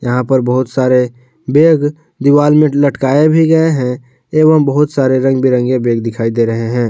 यहां पर बहुत सारे बैग दीवार में लटकाए भी गए हैं एवं बहुत सारे रंग बिरंगे बैग दिखाई दे रहे हैं।